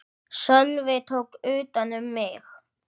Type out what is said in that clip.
Sölvi tók utan um mig.